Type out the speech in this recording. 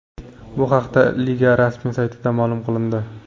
Bu haqida liga rasmiy saytida ma’lum qilindi .